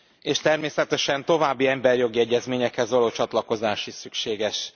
És természetesen további emberi jogi egyezményekhez való csatlakozás is szükséges.